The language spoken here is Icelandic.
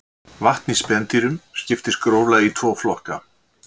Vatn í spendýrum skiptist gróflega í tvo flokka.